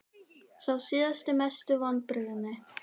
Sá síðasti Mestu vonbrigði?